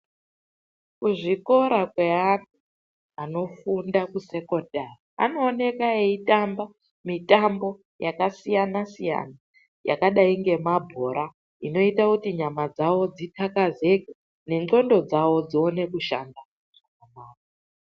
Kuzvikora zveana anofunde kusekondari anooneka eitamba mitambo yakasiyana siyana yakadayi ngemabhora inoite kuti nyama dzavo dzithakazike nendxondo dzavo dzione kushanda.